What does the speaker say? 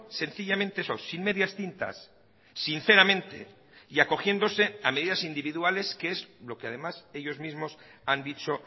sencillamente eso sin medias tintas sinceramente y acogiéndose a medidas individuales que es lo que además ellos mismos han dicho